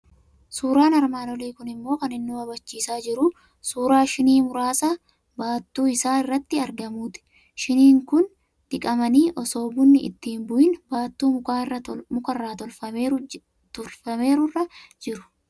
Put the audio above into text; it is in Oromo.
Suuraan armaan olii kun immoo kan inni nu hubachiisaa jiru suuraa shinii muraasa baattuu isaa irratti argamuuti. Shiniin kun diqamanii, osoo bunni itti hin bu'iin baattuu muka irraa tolfameeru irra jira.